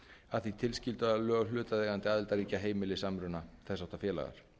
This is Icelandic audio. að því tilskildu að lög hlutaðeigandi aðildarríkja heimili samruna þess háttar félaga